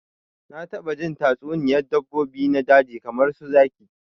Na taba jin tatsuniyar dabbobi na daji kamar su zaki